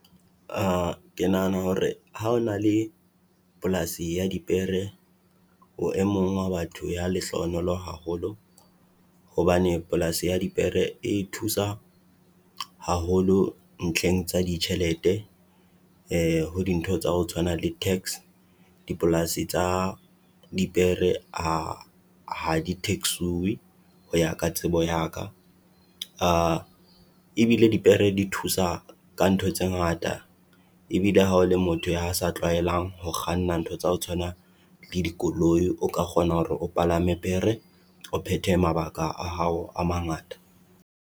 Ke nahana hore ha o na le polasi ya dipere, o e mong wa batho ya lehlohonolo haholo. Hobane polasi ya dipere e thusa haholo ntlheng tsa ditjhelete ho dintho tsa ho tshwana le tax. Dipolasi tsa dipere ha ha di tax-uwe ho ya ka tsebo ya ka, ebile dipere di thusa ka ntho tse ngata. Ebile ha o le motho ya sa tlwaelang ho kganna ntho tsa ho tshwaana le dikoloi, o ka kgona hore o palame pere, o phethe mabaka a hao a mangata.